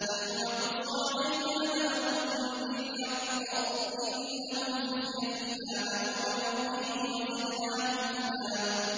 نَّحْنُ نَقُصُّ عَلَيْكَ نَبَأَهُم بِالْحَقِّ ۚ إِنَّهُمْ فِتْيَةٌ آمَنُوا بِرَبِّهِمْ وَزِدْنَاهُمْ هُدًى